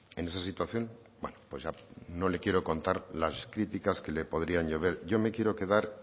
en esa situación bueno no le quiero contar las críticas que le podrían llover yo me quiero quedar